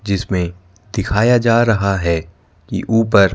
जिसमें दिखाया जा रहा है की ऊपर--